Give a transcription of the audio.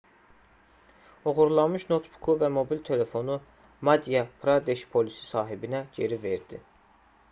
oğurlanmış noutbuku və mobil telefonu madhya pradeş polisi sahibinə geri verdi